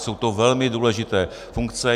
Jsou to velmi důležité funkce.